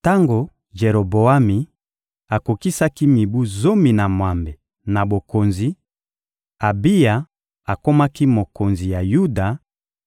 Tango Jeroboami akokisaki mibu zomi na mwambe na bokonzi, Abiya akomaki mokonzi ya Yuda